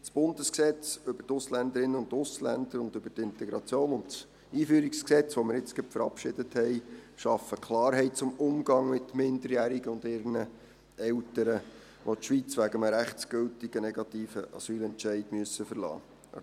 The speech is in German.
Das Bundesgesetz über die Ausländerinnen und Ausländer und über die Integration (Ausländer- und Integrationsgesetz, AIG) und das EG AIG und AsylG, das wir jetzt gerade verabschiedet haben, schaffen Klarheit zum Umgang mit Minderjährigen und ihren Eltern, die die Schweiz wegen eines rechtsgültigen negativen Asylentscheids verlassen müssen.